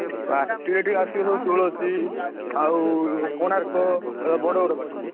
ପାଟି ଏଠି ଆସିବ ସବୁ ତୁଳସୀ, ଆଉ କୋଣାର୍କ, ବଡ ବଡ ପାଟି ସବୁ।